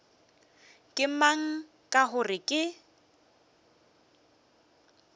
ke mang ka gore ke